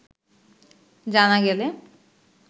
জানা গেলে